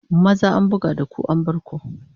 Maza an buga da ku an bar ku!